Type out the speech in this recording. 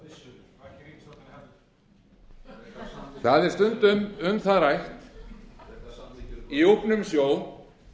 kannski ríkisstjórnin haldi það er stundum um það rætt í úfnum sjó